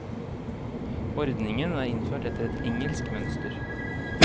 Ordningen er innført etter et engelsk mønster.